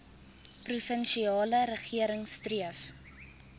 provinsiale regering streef